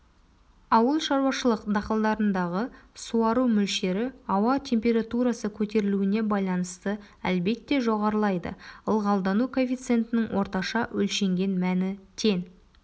ауылшаруашылық дақылдарындағы суару мөлшері ауа температурасы көтерілуіне байланысты әлбетте жоғарылайды ылғалдану коэффициентінің орташа өлшенген мәні тең